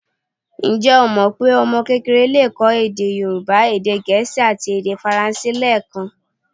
Ǹjẹ́ o mọ pé ọmọ kékeré le kọ́ èdè Yorùbá, èdè gẹ̀ẹ́sì àti èdè faransé lẹẹkan?